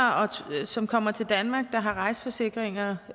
som kommer til danmark og som har rejseforsikringer